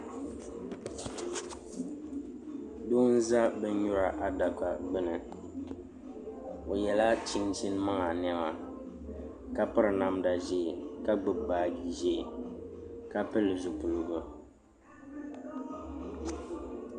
Doo n ʒɛ bin nyura adaka gbuni o yɛla chinchin maŋa niɛma ka piri namda ʒiɛ ka gbubi baaji ʒiɛ ka pili zipiligu